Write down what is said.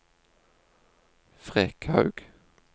Frekhaug